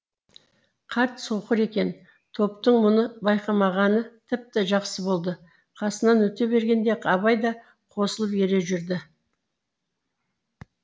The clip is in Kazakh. қарт соқыр екен топтың мұны байқамағаны тіпті жақсы болды қасынан өте бергенде абай да қосылып ере жүрді